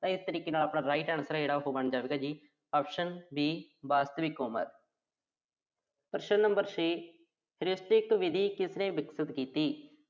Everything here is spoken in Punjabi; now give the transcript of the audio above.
ਇਸ ਕਰਕੇ ਆਪਣਾ right answer ਆ ਜਿਹੜਾ, ਉਹ ਬਣ ਜਾਂਦਾ ਜੀ option B ਵਾਸਤਵਿਕ ਉਮਰ। ਪ੍ਰਸ਼ਨ number ਛੇ। ਵਿਧੀ ਕਿਸ ਨੇ ਵਿਕਸਿਤ ਕੀਤੀ।